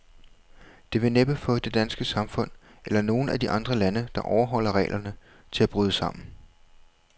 Det vil næppe få det danske samfund, eller nogen af de andre lande, der overholder reglerne, til at bryde sammen.